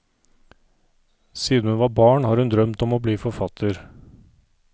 Siden hun var barn har hun drømt om å bli forfatter.